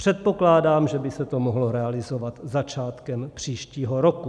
Předpokládám, že by se to mohlo realizovat začátkem příštího roku.